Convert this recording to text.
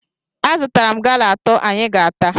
Azụtara m gala atọ anyị ga-ata